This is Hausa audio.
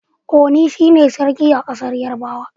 Oni shi ne Sarki a ƙasar Yarabawa.